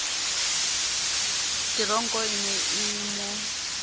teronko e ne e mo